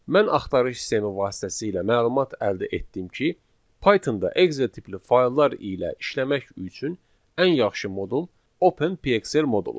Mən axtarış sistemi vasitəsilə məlumat əldə etdim ki, Pythonda Excel tipli fayllar ilə işləmək üçün ən yaxşı modul Open PXL moduludur.